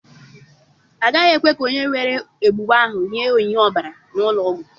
Agaghị ekwe ka onye nwere egbugbu ahụ nye onyinye ọbara n'ụlọ ọgwụ.